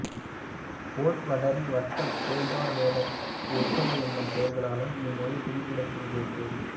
vote Vadari Vadda Beldar Vedar Votte என்னும் பெயர்களாலும் இம்மொழி குறிப்பிடப்படுவதுண்டு